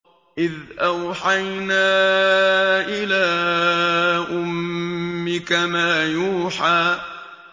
إِذْ أَوْحَيْنَا إِلَىٰ أُمِّكَ مَا يُوحَىٰ